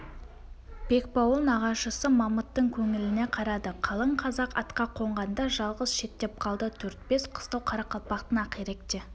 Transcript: бекбауыл нағашысы мамыттың көңіліне қарады қалың казақ атқа қонғанда жалғыз шеттеп қалды төрт-бес қыстау қарақалпақтың ақиректе